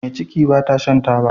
Me ciki bata Shan taba